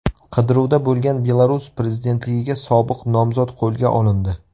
Qidiruvda bo‘lgan Belarus prezidentligiga sobiq nomzod qo‘lga olindi.